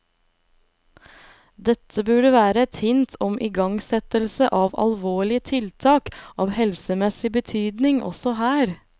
Dette burde være et hint om igangsettelse av alvorlige tiltak av helsemessig betydning også her.